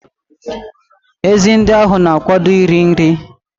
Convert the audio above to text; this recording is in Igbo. Ezi ndị ahụ na-akwado iri nri.